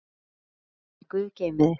Elsku Dagný, Guð geymi þig.